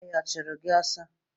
Ezi ọhịa ọ chụrụ gị ọsọ